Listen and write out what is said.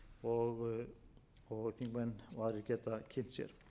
og þingmenn og aðrir geta kynnt sér